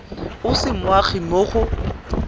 o se moagi mo go